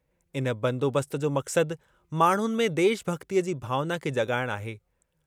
इन बंदोबस्त जो मक़्सद माण्हुनि में देशभॻितीअ जी भावना खे जॻाइणु आहे।